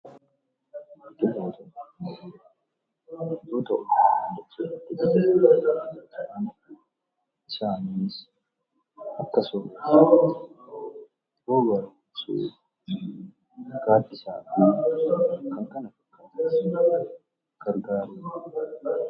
Biqiltoota jechuun wantoota uumamaan dachee irra jiran isaanis akka soorataatti, rooba harkisuuf, gaaddisaa fi kan kana fakkaataniif kan gargarani dha.